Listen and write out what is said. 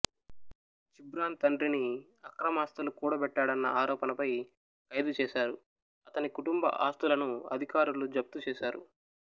జిబ్రాన్ తండ్రిని అక్రమాస్తులు కూడబెట్టాడన్న ఆరోపణపై ఖైదుచేశారు అతని కుటుంబ ఆస్తులను అధికారులు జప్తుచేశారు